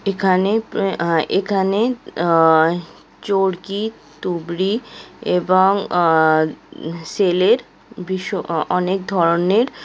এখানে ও আ- এখানে অ্যাঁই চরকি তুবড়ি এবং আ সেলের ভিশ অ অ অনেক ধরনের --